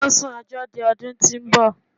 Wọ́n sún ẹjọ́ di ọdún tó ń bọ̀.